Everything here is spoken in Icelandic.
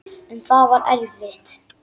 En það var erfitt.